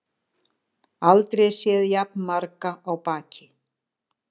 Aldrei séð jafn marga á baki